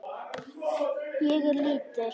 Ég er lítil.